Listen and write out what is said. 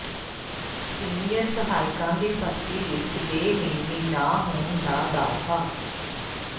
senior ਸਹਾਇਕਾਂ ਦੀ ਭਰਤੀ ਵਿੱਚ ਬੇਨਿਯਮੀ ਨਾ ਹੋਣ ਦਾ ਦਾਅਵਾ